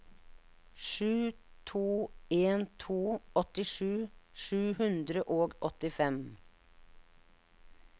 sju to en to åttisju sju hundre og åttifem